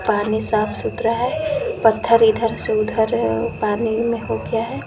पानी साफ सुथरा है पत्थर इधर से उधर है पानी में हो गया है।